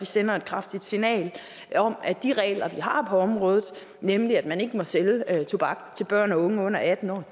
sender et kraftigt signal om at de regler vi har på området nemlig at man ikke må sælge tobak til børn og unge under atten år